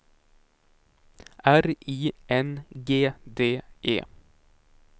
R I N G D E